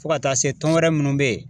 Fo ka taa se tɔn wɛrɛ munnu bɛ ye